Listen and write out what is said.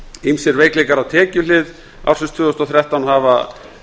ýmsir veikleikar á tekjuhlið tvö þúsund og þrettán hafa